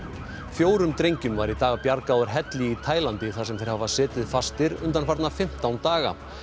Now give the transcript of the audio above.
fjórum drengjum var í dag bjargað úr helli í Taílandi þar sem þeir hafa setið fastir undanfarna fimmtán daga